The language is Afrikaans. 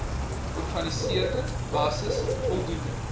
organiseerde basis voldoende